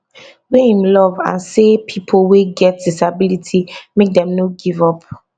wey im love and say pipo wey get disability make dem no give up